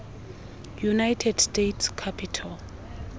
united states capitol